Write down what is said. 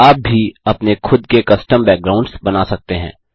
आप भी अपने खुद़ के कस्टम बैकग्राउंड्स बना सकते हैं